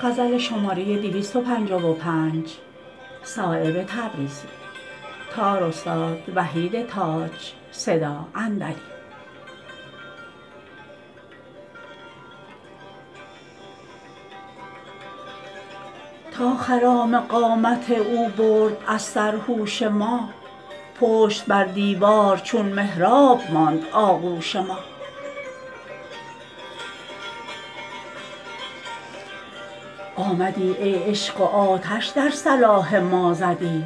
تا خرام قامت او برد از سر هوش ما پشت بر دیوار چون محراب ماند آغوش ما آمدی ای عشق و آتش در صلاح ما زدی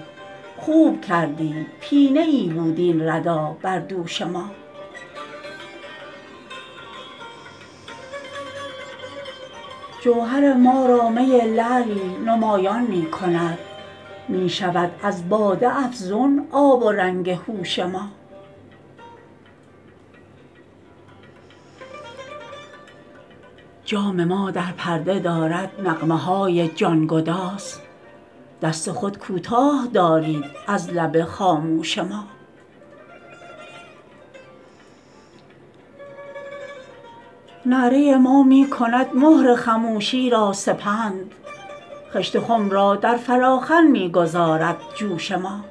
خوب کردی پینه ای بود این ردا بر دوش ما جوهر ما را می لعلی نمایان می کند می شود از باده افزون آب و رنگ هوش ما جام ما در پرده دارد نغمه های جانگداز دست خود کوتاه دارید از لب خاموش ما نعره ما می کند مهر خموشی را سپند خشت خم را در فلاخن می گذارد جوش ما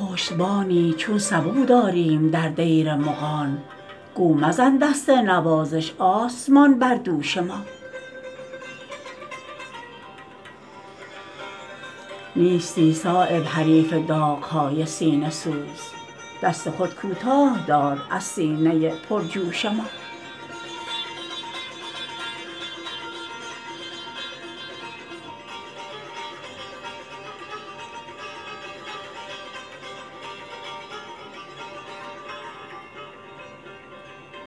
پشتبانی چون سبو داریم در دیر مغان گو مزن دست نوازش آسمان بر دوش ما نیستی صایب حریف داغ های سینه سوز دست خود کوتاه دار از سینه پرجوش ما